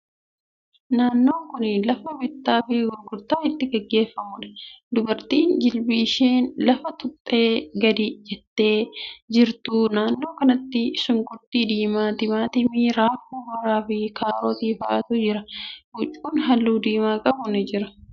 Naannon kuni lafa bittaa fi gurgurtaan itti gaggeeffamuudha. Dubartiin jilba isheen lafa tuqxee gadi jettee jirti. Naannoo kanatti shunkurtii diimaa, timaatimii, raafuu maraa fi kaarotii fa'atu jira. Huccuun haalluu diimaa qabu ni jira.